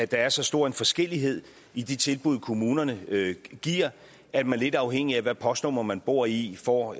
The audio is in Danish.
der er så stor en forskellighed i de tilbud kommunerne giver at man lidt afhængigt af hvilket postnummer man bor i får